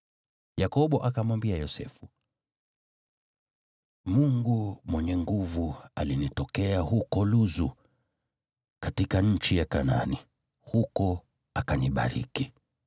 Yakobo akamwambia Yosefu, “Mungu Mwenyezi alinitokea huko Luzu katika nchi ya Kanaani, huko akanibariki,